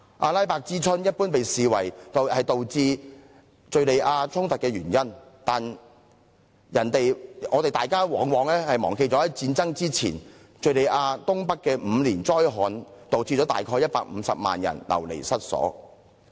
"阿拉伯之春"一般被視為導致敍利亞衝突的原因，但大家往往忘記在戰爭爆發前，敍利亞東北曾發生5年災旱，導致約150萬人流離失所。